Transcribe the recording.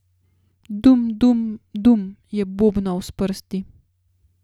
Dum, dum, dum, je bobnal s prsti.